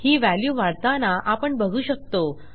ही value वाढताना आपण बघू शकतो